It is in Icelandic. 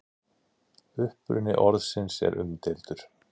uppruni orðsins er umdeildur